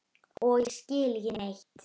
Og ég skil ekki neitt.